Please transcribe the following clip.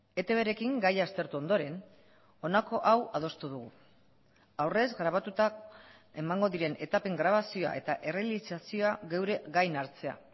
etbrekin gaia aztertu ondoren honako hau adostu dugu aurrez grabatuta emango diren etapen grabazioa eta errealizazioa geure gain hartzea